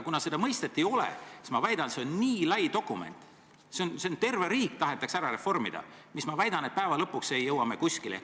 Kuna seda mõistet ei ole, siis ma väidan, et see on nii lai dokument, terve riik tahetakse ära reformida, aga lõpuks ei jõua me kuskile.